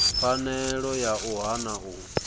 pfanelo ya u hana u